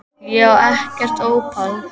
Ég á ekkert ópal